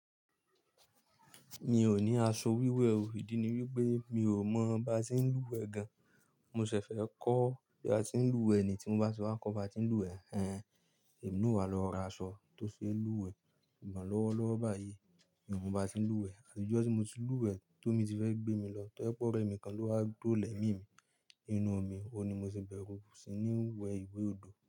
Mi ò ní aṣọ wíwẹ̀ o, ìdí ni wípé mi ò mọ bá tí ń lúwẹ̀ gan. Mo ṣẹ̀ fẹ́ kọ́ bí a ti ń lúwẹ̀ ni, tí mo bá ti wá kọ́ bá tí ń lúwẹ̀, ẹ́nehn, èmi ni ó wa lọ ra aṣọ tó ṣe lúwẹ̀. Ṣùgbọ́n lowo lowo báyìí mi ò ma bá se ń lúwẹ̀ àtijọ́ tí mo ti lúwẹ̀ ti omi ti fẹ́ gbemi lọ tó ye pe ọ̀rẹ́ mi kan lowa do la èmi mí nínú omi òun ni mo se bẹ̀rù si ní wẹ ìwé odò.